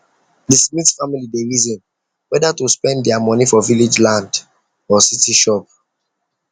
the smith family dey reason whether to spend their money for village land or city shop